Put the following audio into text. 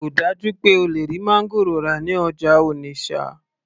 kò dájú pé o lè rí máńgòrò rà ní ọjà Onitsha